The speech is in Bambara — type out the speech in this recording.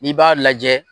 N'i b'a lajɛ